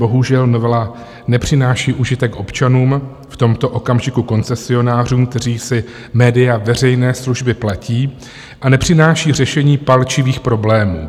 Bohužel novela nepřináší užitek občanům, v tomto okamžiku koncesionářům, kteří si média veřejné služby platí, a nepřináší řešení palčivých problémů.